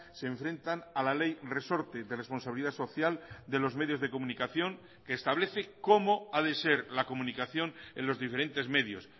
se enfrentan a la ley resorte de responsabilidad social de los medios de comunicación que establece cómo a de ser la comunicación en los diferentes medios